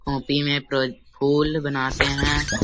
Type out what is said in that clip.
Copy में profile बनाते हैं।